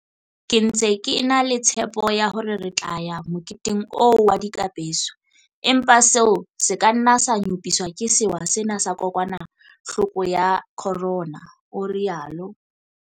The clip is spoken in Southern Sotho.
"Ke ntse ke e na le tshepo ya hore re tla ya moketeng oo wa dikapeso, empa seo se ka nna sa nyopiswa ke sewa sena sa kokwanahloko ya corona," o rialo.